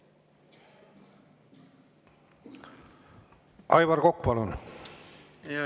Aivar Kokk, palun!